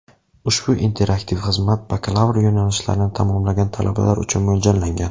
Ushbu interaktiv xizmat Bakalavr yo‘nalishlarini tamomlagan talabalar uchun mo‘ljallangan.